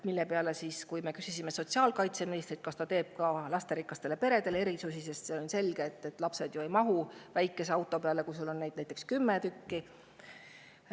Me küsisime sotsiaalkaitseministrilt, kas ta teeb lasterikastele peredele erisusi, sest on ju selge, et kui sul on näiteks kümme last, siis väikese auto peale nad ei mahu.